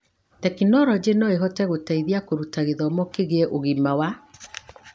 Tekinoronjĩ no ĩhote gũteithia kũruta gĩthomo kĩgie ũgima wa